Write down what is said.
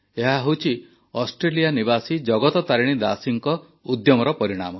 ଏହା ହେଉଛି ଅଷ୍ଟ୍ରେଲିଆ ନିବାସୀ ଜଗତ ତାରିଣୀ ଦାସୀଙ୍କ ଉଦ୍ୟମର ପରିଣାମ